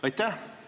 Aitäh!